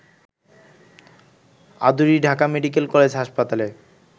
Aduri Dhaka medical college হাসপাতালে